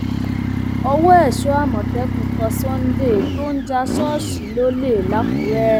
ọwọ èso àmọtẹkùn tẹ sunday tó ń já ṣọọṣì lólè lákùrẹ